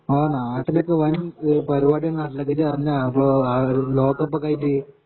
ആ നാട്ടിലൊക്കെ വൻ പരിപാടിയ നാട്ടിലൊക്കെ ഇജ്ജ് അറിഞ്ഞിനൊ അപ്പോ ആ ഒരു ലോക കപ്പൊക്ക ആയിട്ട്